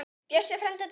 Bjössi frændi er dáinn.